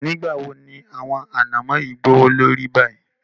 Nígbawó ni àwọn ànàmọ̀ yìí gbọwọ lórí báyìí?